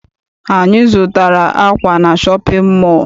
Anyị zụtara akwa na shọpịn mọọ.